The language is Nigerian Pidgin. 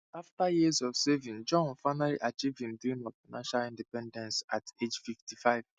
afta years of saving jon finally achieve him dream of financial independence at age fifty five